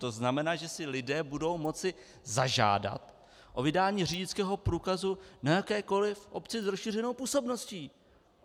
To znamená, že si lidé budou moci zažádat o vydání řidičského průkazu na jakékoliv obci s rozšířenou působností.